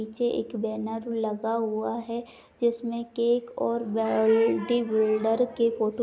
पीछे एक बैनर लगा हुआ है। जिसमें केक और बॉडी बिल्डर की फोटो --